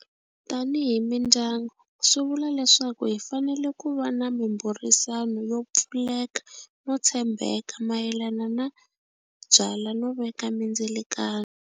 Tanihi mindyangu swi vula leswaku hi fanele ku va na mimbhurisano yo pfuleka no tshembeka mayelana na byala no veka mindzilikano.